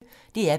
DR P1